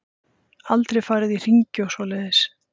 Aldrei farið í hringi og svoleiðis.